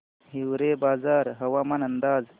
हिवरेबाजार हवामान अंदाज